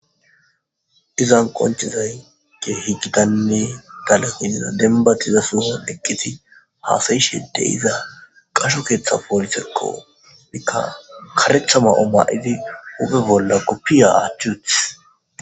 Iizan qonchizay ge higgidanne tale iniza denbatiza suuha eqqiti haasayishede iza qasho keeththa poolisekqo mikka karetha ma7o ma7idi upe bolla kuppiya aachuth.